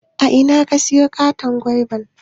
A ina ka siyo wanan katon goiba?